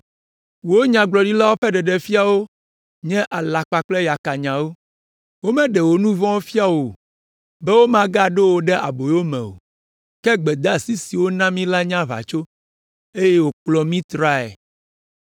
Wò nyagblɔɖilawo ƒe ɖeɖefiawo nye alakpa kple yakanyawo, womeɖe wò nu vɔ̃wo fia wò, be womagaɖo wò ɖe aboyo me o. Ke gbedeasi si wona mi la nye aʋatso eye wòkplɔ mi trae.